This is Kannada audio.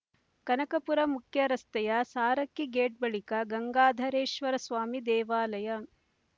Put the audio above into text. ಕನಕಪುರ ಮುಖ್ಯರಸ್ತೆಯ ಸಾರಕ್ಕಿ ಗೇಟ್ ಬಳಿಕ ಗಂಗಾಧರೇಶ್ವರ ಸ್ವಾಮಿ ದೇವಾಲಯ